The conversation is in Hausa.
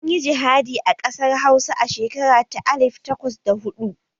An yi jihadi a ƙasar hausa a shekara ta alif takwas da hudu